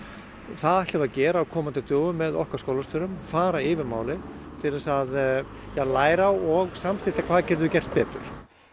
það ætlum við að gera á komandi dögum með okkar skólastjórum fara yfir málin til þess að læra og samþætta hvað getum við gert betur